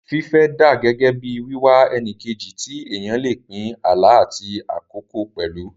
Fífẹ́ dà gẹ́gẹ́ bí wíwá ẹni kejì tí èèyàn lè pín àlá àti àkókò pẹ̀lú